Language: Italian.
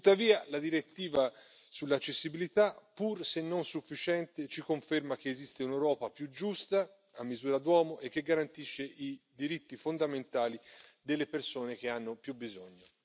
Tuttavia la direttiva sull'accessibilità, pur se non sufficiente, ci conferma che esiste un'Europa più giusta, a misura d'uomo e che garantisce i diritti fondamentali delle persone che hanno più bisogno.